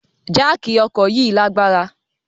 Jáákí ọkọ yi lagbara